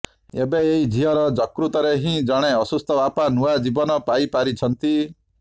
ଏବେ ଏହି ଝିଅର ଯକୃତରେ ହିଁ ଜଣେ ଅସୁସ୍ଥ ବାପା ନୂଆ ଜୀବନ ପାଇପାରିଛନ୍ତି